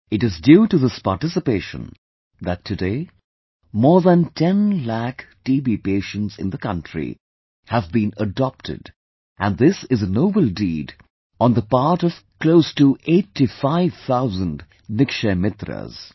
It is due to this participation, that today, more than 10 lakh TB patients in the country have been adopted... and this is a noble deed on the part of close to 85 thousand Nikshay Mitras